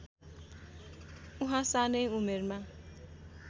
उहाँ सानै उमेरमा